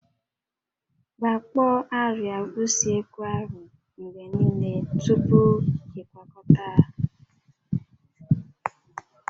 Gbakpọọ àrịá usekwu ahụ mgbe niile tupu ịkwakọta ha